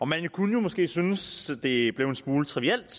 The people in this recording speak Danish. man kunne måske synes det blev en smule trivielt